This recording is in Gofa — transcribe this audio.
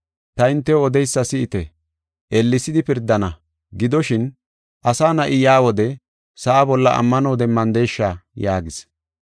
Ta hintew odeysa si7ite, ellesidi pirdana. Gidoshin, Asa Na7i yaa wode sa7a bolla ammano demmandesha?” yaagis.